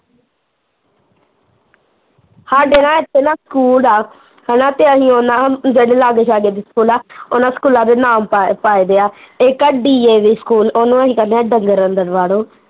ਹਾਡੇ ਨਾ ਏਥੇ ਨਾ ਸਕੂਲ ਆ ਹੈਨਾ ਤੇ ਅਸੀਂ ਓਹਨਾਂ ਲਾਗੇ ਸ਼ਾਂਗੇ ਦੇ ਸਕੂਲ ਆ, ਓਹਨਾਂ ਸਕੂਲਾਂ ਦੇ ਨਾ ਪਾਏ ਦੇ ਆ ਇੱਕ ਐ DAV ਸਕੂਲ ਓਹਨੂੰ ਅਸੀਂ ਕਹਿੰਦੇ ਡੰਗਰ ਅੰਦਰ ਵਾੜੋ